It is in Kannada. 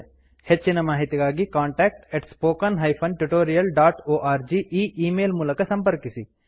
ಹೆಚ್ಚಿನ ಮಾಹಿತಿಗಾಗಿ contact spoken tutorialorg e email ಮೂಲಕ ಸಂಪರ್ಕಿಸಿ